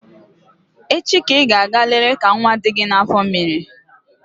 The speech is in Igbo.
Echi ka Ị gaa lele ka nwa dị gị n'afọ mere